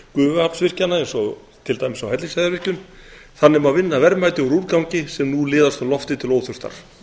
gufuaflsvirkjana eins og til dæmis á hellisheiðarvirkjun þannig má vinna verðmæti úr úrgangi sem nú liðast um loftið til óþurftar